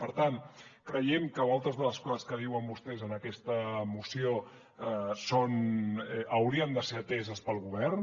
per tant creiem que moltes de les coses que diuen vostès en aquesta moció haurien de ser ateses pel govern